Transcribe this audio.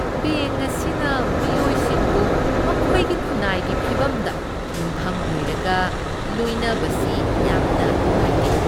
Bank ꯑꯁꯤꯅ ꯃꯤꯑꯣꯏꯁꯤꯡꯕꯨ ꯃꯈꯣꯏꯒꯤ ꯈꯨꯟꯅꯥꯏꯒꯤ ꯐꯤꯕꯝꯗ ꯌꯨꯝꯐꯝ ꯑꯣꯏꯔꯒ ꯂꯣꯏꯅꯕꯁꯤ ꯌꯥꯝꯅ ꯅꯨꯡꯉꯥꯏꯇꯦ꯫